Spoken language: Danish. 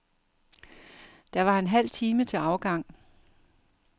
Der var en halv time til afgang.